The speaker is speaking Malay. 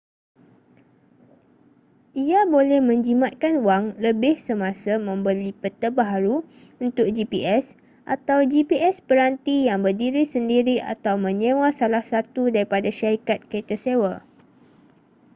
ia boleh menjimatkan wang lebih semasa membeli peta baharu untuk gps atau gps peranti yang berdiri sendiri atau menyewa salah satu daripada syarikat kereta sewa